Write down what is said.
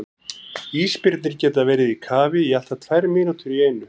Ísbirnir geta verið í kafi í allt að tvær mínútur í einu.